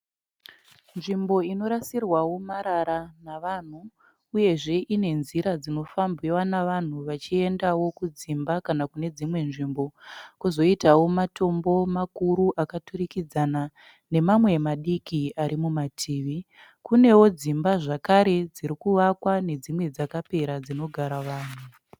Nzvimbo inorasirwawo marara navanhu uyezve ine nzira dzinofambiwa nevanhu vachiendawo kudzimba kana kune dzimwe nzvimbo. Kwozoitawo matombo makuru akaturikidzana nemamwe madiki ari mumativi. Kunewo dzimba zvakare dzirikuvakwa nedzimwe dzakapera dzinogara vanhu.